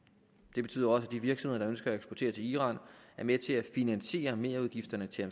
det betyder også at de virksomheder der ønsker at eksportere til iran er med til at finansiere merudgifterne til